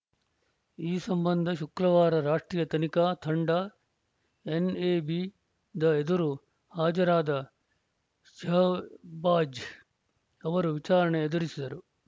ಈ ಸಂಬಂಧ ಶುಕ್ರವಾರ ರಾಷ್ಟ್ರೀಯ ತನಿಖಾ ತಂಡ ಎನ್‌ಎಬಿದ ಎದುರು ಹಾಜರಾದ ಶಹಬಾಜ್‌ ಅವರು ವಿಚಾರಣೆ ಎದುರಿಸಿದರು